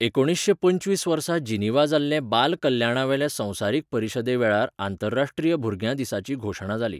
एकुणीशे पंचवीस वर्सा जिनिव्हा जाल्ले बाल कल्याणावेले संवसारीक परिशदेवेळार आंतरराश्ट्रीय भुरग्यां दिसाची घोशणा जाली.